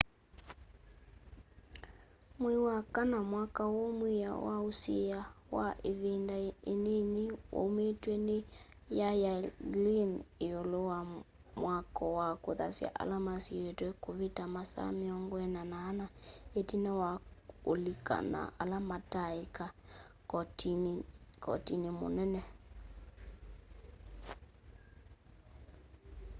mwei wa kana mwaka uu mwiao wa usiia wa ivinda inini waumiw'e ni y'ay'i glynn iulu wa mwako wa kuthasya ala masiitwe kuvita masaa 24 itina wa ulika na ala mataaika kotini ni munene